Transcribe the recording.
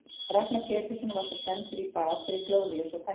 Ragnar Pétursson var svo sendur í bað fyrir glórulausa tæklingu.